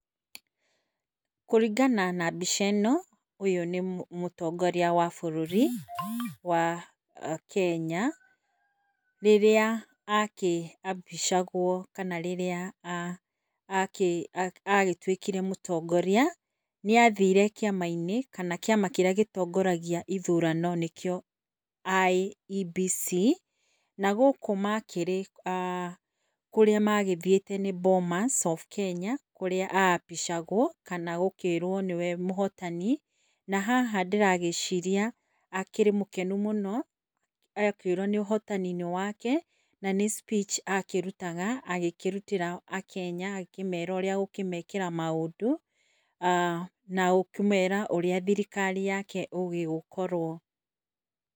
Kũringana na mbica ĩno ũyũ nĩ mũtongoria wa bũrũri wa Kenya rĩrĩa akĩapishagwo agĩtwĩkire mũtongoria. Nĩathire kĩama kĩrĩa gĩtongaragia ithurano nanĩkĩo IEBC na gũkũ makĩrĩ kana kũrĩa mathiĩte nĩ ah Bomas of Kenya kũrĩa aapishagwo kana gũkĩrwo nĩwe mũhotani na haha ndĩragĩciaria akĩrĩ mũkenu mũno akĩrwo nĩ ũhotani wake kana nĩ speech yake akĩrutaga, agĩkĩrutĩra akenya akĩmera maũndũ [ah ]nagũkĩmera ũrĩa thirikari yake ĩgũgĩkorwo.